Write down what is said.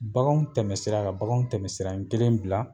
Baganw tɛmɛsira ka baganw tɛmɛsira kelen bila